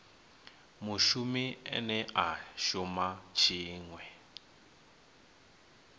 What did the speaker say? mushumi ane a shuma tshiṅwe